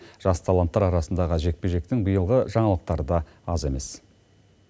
жас таланттар арасындағы жекпе жектің биылғы жаңалықтары аз емес